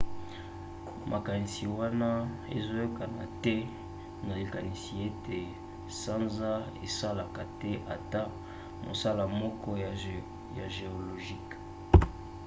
makanisi wana ezoyokana te na likanisi ete sanza esalaka te ata mosala moko ya géologique